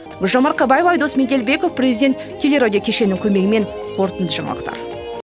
гүлжан марқабаева айдос меделбеков президент телерадио кешені көмегімен қорытынды жаңалықтар